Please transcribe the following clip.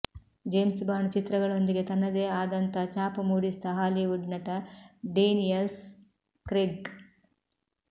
James Bond ಚಿತ್ರಗಳೊಂದಿಗೆ ತನದೇ ಆದಂತ ಛಾಪು ಮೂಡಿಸಿದ ಹಾಲಿವುಡ್ ನಟ ಡೇನಿಯಲ್ಲ್ ಕ್ರೆಗ್